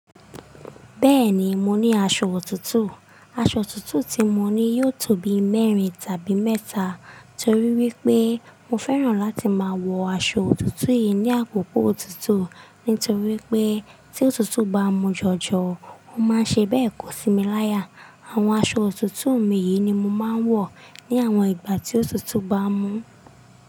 Bẹ́ẹ̀ni, mo ní aṣọ òtútù. Aṣọ òtútù tí mo ní yóò tó bi mẹ́rin tàbí mẹ́ta torí wípé mo fẹ́ràn láti máa wọ aṣọ òtútù yìí ní àkókò òtútù. Nítorí wípé tí òtútù bá mú jọjọ, ó máa ṣe béèkò sí mi láya. Àwọn aṣọ òtútù mi yìí ni mo máa ń wọ̀ ní àwọn ìgbà tí òtútù bá mú.